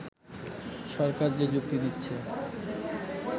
সরকার যে যুক্তি দিচ্ছে